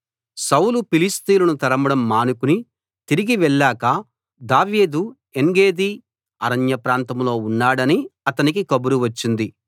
సౌలు ఫిలిష్తీయులను తరమడం మానుకుని తిరిగి వెళ్ళాక దావీదు ఏన్గెదీ అరణ్య ప్రాంతంలో ఉన్నాడని అతనికి కబురు వచ్చింది